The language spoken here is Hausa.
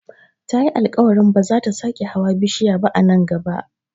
Tayi alkawarin ba zata sake hawa bishiya ba a nan gaba